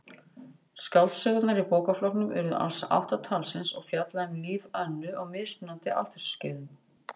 Skáldsögurnar í bókaflokknum urðu alls átta talsins og fjalla um líf Önnu á mismunandi aldursskeiðum.